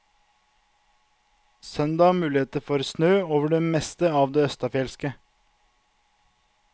Søndag mulighet for snø over det meste av det østenfjelske.